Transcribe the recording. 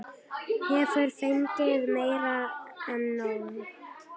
Hefur fengið meira en nóg.